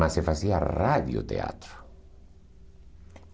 Mas se fazia radioteatro.